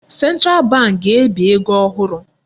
Central bank ga-ebi ego ohụrụ.